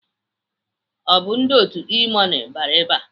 Ọ bụ ndị otu E-money bịara ebe a?